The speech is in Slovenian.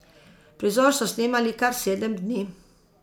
Prizor so snemali kar sedem dni.